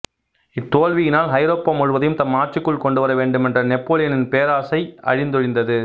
இத்தோல்வியினால் ஐரோப்பா முழுவதையும் தம் ஆட்சிக்குள் கொண்டுவர வேண்டுமென்ற நெப்போலியனின் பேராசை அழிந்தொழிந்தது